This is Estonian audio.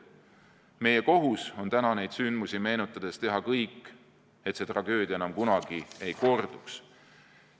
Meie kohus on täna neid sündmusi meenutades teha kõik, et see tragöödia enam kunagi ei korduks.